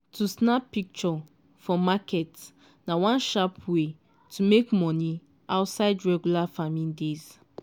to snap picture for market na one sharp way to make money outside regular farming days.